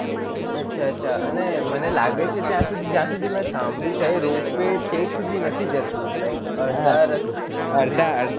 અચ્છા અચ્છા અને મને લાગે છે ત્યાં જ્યાં સુધી મેં સાંભળ્યું છે એ ropeway છેક સુધી નથી જતું like અડધા રસ્તે